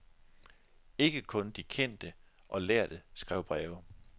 Ikke kun de kendte og lærde skrev breve.